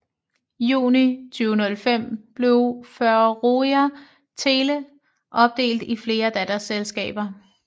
Juni 2005 blev Føroya Tele opdelt i flere datterselskaber